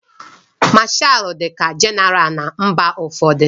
Mashalu dịka Jenéral na mba ụfọdụ.